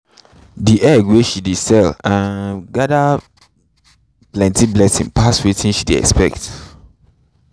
the eggs wey she dey sell um gather plenty plenty pass wetin she dey expect